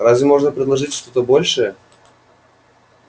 разве можно предложить что-то большее